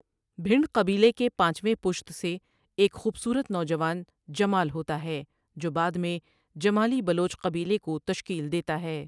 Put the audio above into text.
بھنڈ قبیلے کے پانچویں پُشت سے ایک خوبصورت نوجوان جمال ہوتا ہے جو بعد میں جمالی بلوچ قبیلے کو تشکیل دیتا ہے ۔